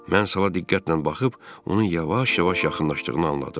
Mən sala diqqətlə baxıb onun yavaş-yavaş yaxınlaşdığını anladım.